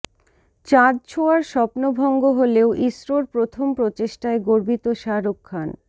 চাঁদ ছোয়ার স্বপ্ন ভঙ্গ হলেও ইসরোর প্রথম প্রচেষ্টায় গর্বিত শাহরুখ খান